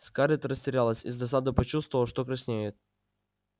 скарлетт растерялась и с досадой почувствовала что краснеет